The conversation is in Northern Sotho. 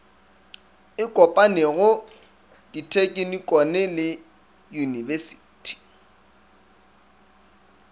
e kopanego dithekinikone le uiyunibesithi